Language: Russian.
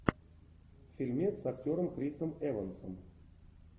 фильмец с актером крисом эвансом